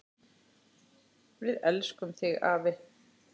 Við elskum þig afi!